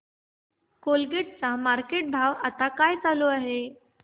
Colgate चा market भाव आता काय चालू आहे